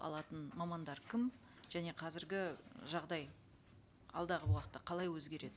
алатын мамандар кім және қазіргі жағдай алдағы уақытта қалай өзгереді